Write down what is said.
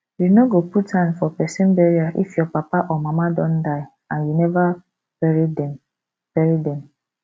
you no go put hand for pesin burial if your papa or mama don die and you never bury dem bury dem